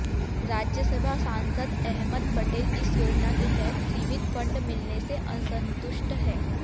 राज्यसभा सांसद अहमद पटेल इस योजना के तहत सीमित फंड मिलने से असंतुष्ट हैं